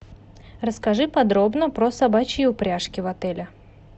расскажи подробно про собачьи упряжки в отеле